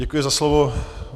Děkuji za slovo.